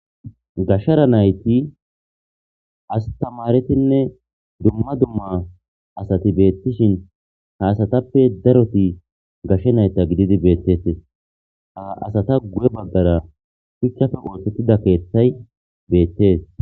gashshara nayti astamaretinne dumma dumma asati beettishin haasatappe daroti gashshe nayta gididi beettetes a asata gu7e baggara shichchafe wooxottida keeththay beettees